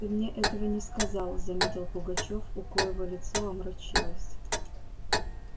ты мне этого не сказал заметил пугачёв у коего лицо омрачилось